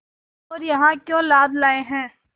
और यहाँ क्यों लाद लाए हैं